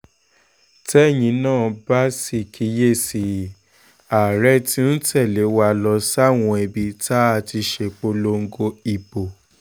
tẹ́yin náà bá sì kíyè sí i àárẹ̀ tí ń tẹ̀lé wa lọ sáwọn ibi tá a ti ṣèpolongo ìbò